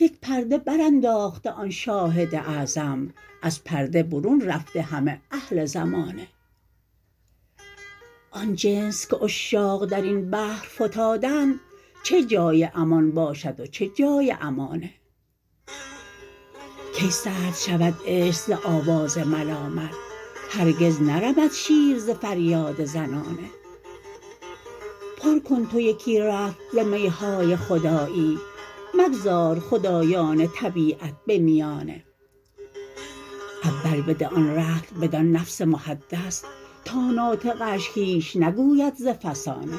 یک پرده برانداخته آن شاهد اعظم از پرده برون رفته همه اهل زمانه آن جنس که عشاق در این بحر فتادند چه جای امان باشد و چه جای امانه کی سرد شود عشق ز آواز ملامت هرگز نرمد شیر ز فریاد زنانه پر کن تو یکی رطل ز می های خدایی مگذار خدایان طبیعت به میانه اول بده آن رطل بدان نفس محدث تا ناطقه اش هیچ نگوید ز فسانه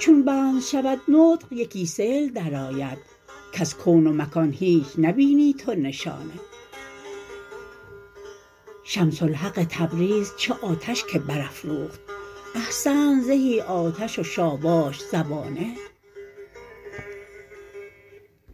چون بند شود نطق یکی سیل درآید کز کون و مکان هیچ نبینی تو نشانه شمس الحق تبریز چه آتش که برافروخت احسنت زهی آتش و شاباش زبانه